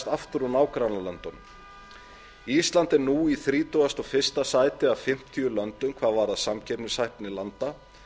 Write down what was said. aftur úr nágrannalöndunum ísland er nú í þrítugasta og fyrsta sæti af fimmtíu löndum hvað varðar samkeppnishæfni landa